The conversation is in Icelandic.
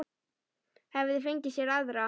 Hefði fengið sér aðra.